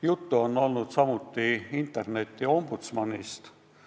Juttu on olnud samuti interneti ombudsmanist.